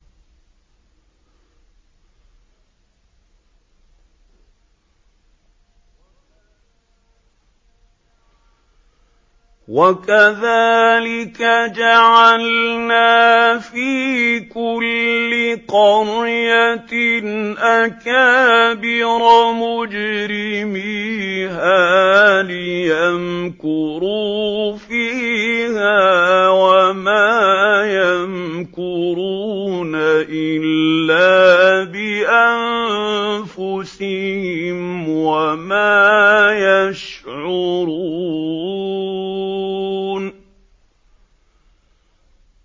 وَكَذَٰلِكَ جَعَلْنَا فِي كُلِّ قَرْيَةٍ أَكَابِرَ مُجْرِمِيهَا لِيَمْكُرُوا فِيهَا ۖ وَمَا يَمْكُرُونَ إِلَّا بِأَنفُسِهِمْ وَمَا يَشْعُرُونَ